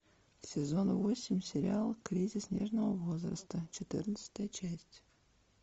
сезон восемь сериал кризис нежного возраста четырнадцатая часть